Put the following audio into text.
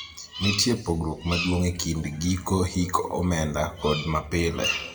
nitie pogruok maduong' e kind giko hik omenda kod ma pile